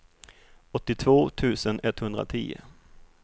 åttiotvå tusen etthundratio